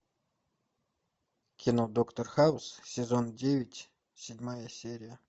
кино доктор хаус сезон девять седьмая серия